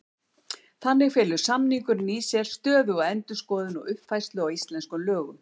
Þannig felur samningurinn í sér stöðuga endurskoðun og uppfærslu á íslenskum lögum.